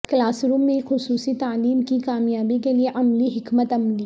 class room میں خصوصی تعلیم کی کامیابی کے لئے عملی حکمت عملی